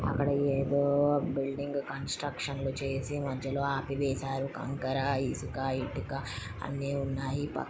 అక్కడ ఏదో building construction లు చేసి మధ్యలో ఆపివేశారు. కంకరాఇసుకఇటుక అన్ని ఉన్నాయి.